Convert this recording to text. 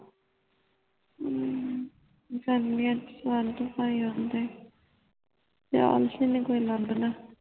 ਹੱਮ ਜਾਂਦੀਆਂ ਚਾਰ ਤੇ ਪਾਈ ਹੋਂਦੇ ਜਾਨਸ਼ੀਨ ਨਿਆ ਕੋਈ ਲੁਬਦਾ